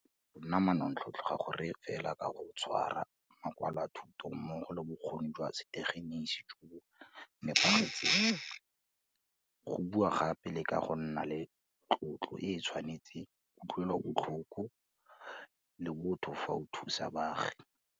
Nna manontlhotlho ga go reye fela ka go tshwara makwalo a thuto mmogo le bokgoni jwa setegeniki jo bo nepagetseng, go bua gape le ka go nna le tlotlo e e tshwanetseng, kutlwelobotlhoko le botho fa o thusa baagi.